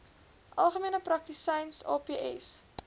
algemene praktisyns aps